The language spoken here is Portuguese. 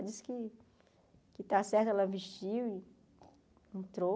Ela disse que que está certo, ela vestiu e entrou.